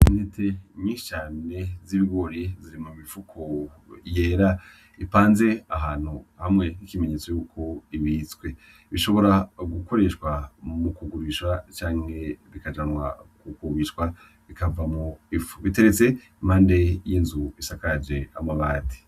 Intete nyinshi cane z'ibigori ziri mu mifuko yera ipanze ahantu hamwe nk'ikimenyetso cuko ibitswe. Bishobora gukoreshwa mu kugurishwa canke bikajanwa kugurishwa bikavamwo ifu. Iteretse impande y'inzu isakajwe amabati.